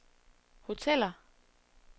hoteller